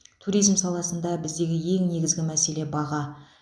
туризм саласында біздегі ең негізгі мәселе баға